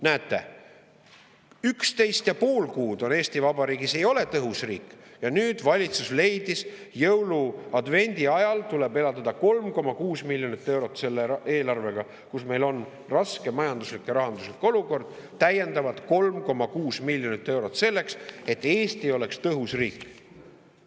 Näete, üksteist ja pool kuud Eesti Vabariik ei olnud tõhus riik, aga nüüd valitsus leidis, et jõulu‑ ja advendiajal tuleb eraldada selle eelarvega, kuigi meil on raske majanduslik ja rahanduslik olukord, täiendavalt 3,6 miljonit eurot selleks, et Eesti oleks tõhus riik.